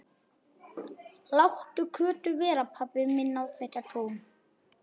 Láttu Kötu vera, pabbi minn á þetta tún!